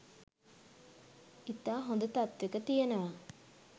ඉතා හොඳ තත්වෙක තියෙනවා.